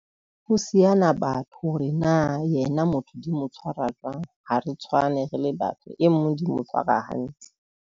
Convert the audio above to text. Ho siyana batho, re na yena motho di mo tshwara jwang. Ha re tshwane, re le batho e nngwe di mo tshwara hantle.